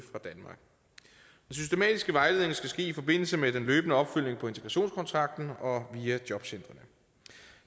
systematiske vejledning skal ske i forbindelse med den løbende opfølgning på integrationskontrakten og via jobcentre